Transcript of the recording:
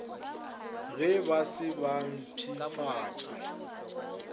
ge ba se ba mpshafatša